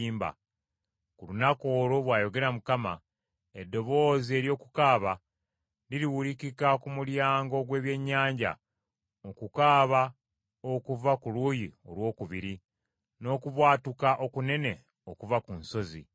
Ku lunaku olwo, bw’ayogera Mukama , eddoboozi ery’okukaaba liriwulikika ku Mulyango ogw’Ebyennyanja, okukaaba okuva ku luuyi olwokubiri, n’okubwatuka okunene okuva ku nsozi.